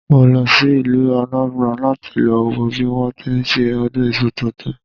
Mo lọ sí ìlú Anambra láti lọ wo bí wọ́n ti ń ṣe ọdún iṣu tuntun